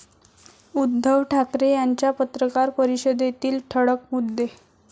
उद्धव ठाकरे यांच्या पत्रकार परिषदेतील ठळक मुद्दे